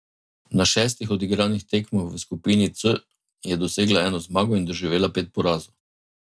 Na šestih odigranih tekmah v skupini C je dosegla eno zmago in doživela pet porazov.